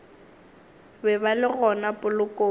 be ba le gona polokong